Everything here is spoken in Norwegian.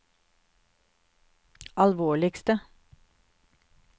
alvorligste